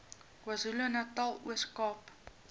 kwazulunatal ooskaap